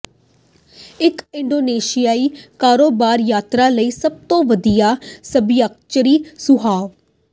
ਇੱਕ ਇੰਡੋਨੇਸ਼ੀਆਈ ਕਾਰੋਬਾਰ ਯਾਤਰਾ ਲਈ ਸਭ ਤੋਂ ਵਧੀਆ ਸੱਭਿਆਚਾਰਿਕ ਸੁਝਾਅ